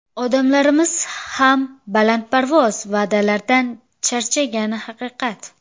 Odamlarimiz ham balandparvoz va’dalardan charchagani haqiqat.